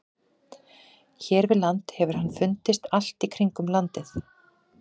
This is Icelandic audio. Hér við land hefur hann fundist allt í kringum landið.